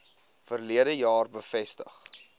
verlede jaar bevestig